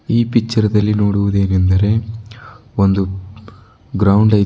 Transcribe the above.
ಈ ಪಿಚ್ಚರ್ ದಲ್ಲಿ ನೋಡುವುದೇನೆಂದರೆ ಒಂದು ಗ್ರೌಂಡ್ ಐತ್--